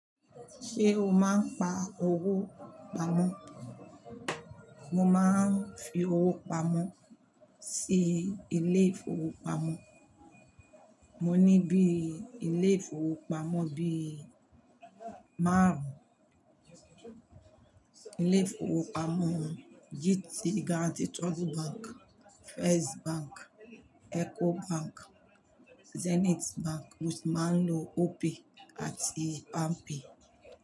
Ṣé o máa ń pa owó pamọ́? Mo máa ń fi owó pamọ́ sí ilé ìfowópamọ́. Mo ní bí i ilé ìfowópamọ́ bíi márùn. Ilé ìfowópamọ́ yìí ti Guaranty Trust Bank, First Bank, EcoBank, Zenith Bank, mo sì máa ń lo Opay àti Palmpay.